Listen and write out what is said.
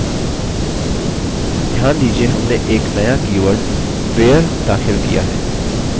ध्यान दीजिये हमने एक नया कीवर्ड where दाखिल किया है